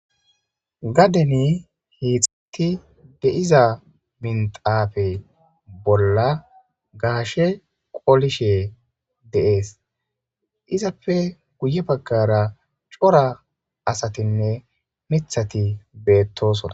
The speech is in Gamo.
Gaden kexeti de'iza minxape bolan gashe qolishe qolishe izappe guye bagara cora asatinne mithati betosona.